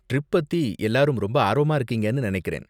Trip பத்தி எல்லாரும் ரொம்ப ஆர்வமா இருக்கீங்கனு நினைக்கிறேன்.